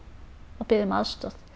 og beðið um aðstoð